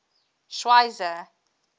schweizer